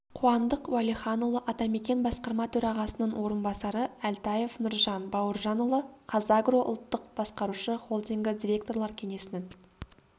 қуандық уәлиханұлы атамекен басқарма төрағасының орынбасары әлтаев нұржан бауыржанұлы қазагро ұлттық басқарушы холдингі директорлар кеңесінің